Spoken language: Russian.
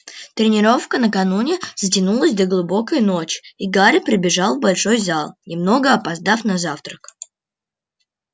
тренировка накануне затянулась до глубокой ночи и гарри прибежал в большой зал немного опоздав на завтрак